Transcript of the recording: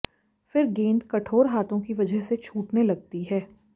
फिर गेंद कठोर हाथों की वजह से छूटने लगती है